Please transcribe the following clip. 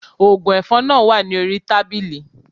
Oògùn ẹ̀fọn náà wà ní orí tábìlì